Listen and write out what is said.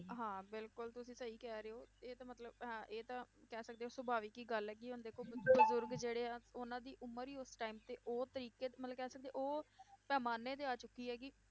ਹਾਂ ਬਿਲਕੁਲ ਤੁਸੀਂ ਸਹੀ ਕਹਿ ਰਹੇ ਹੋ, ਇਹ ਤਾਂ ਮਤਲਬ ਹਾਂ ਇਹ ਤਾਂ ਕਹਿ ਸਕਦੇ ਹੋ ਸੁਭਾਵਿਕ ਹੀ ਗੱਲ ਹੈ ਕਿ ਹੁਣ ਦੇਖੋ ਬਜ਼ੁਰਗ ਜਿਹੜੇ ਆ, ਉਹਨਾਂ ਦੀ ਉਮਰ ਹੀ ਉਸ time ਤੇ ਉਹ ਤਰੀਕੇ ਮਤਲਬ ਕਹਿ ਸਕਦੇ ਉਹ ਪੈਮਾਨੇ ਤੇ ਆ ਚੁੱਕੀ ਹੈ ਕਿ